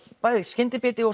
bæði skyndibiti og